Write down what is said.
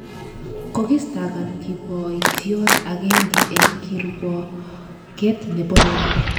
Kokistakan kiboityot agenge eng kirwoget nebo Rwanda